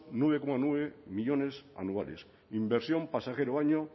nueve coma nueve millónes anuales inversión pasajero año